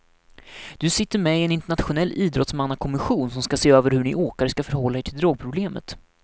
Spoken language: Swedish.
Du sitter med i en internationell idrottsmannakommission som ska se över hur ni åkare ska förhålla er till drogproblemet.